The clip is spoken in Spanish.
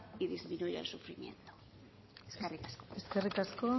y disminuir el sufrimiento eskerrik asko